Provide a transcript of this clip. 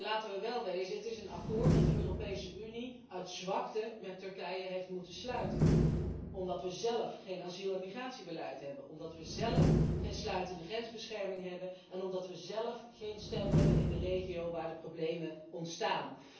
Maar laten we wel wezen, het is een akkoord dat de Europese Unie uit zwakte met Turkije heeft moeten sluiten omdat we zelf geen asiel en migratiebeleid hebben, omdat we zelf geen sluitende grensbescherming hebben en omdat we zelf geen stem hebben in de regio waar de problemen ontstaan.